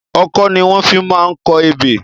Ọkọ́ ni wọ́n fi máa ń kọ ebè.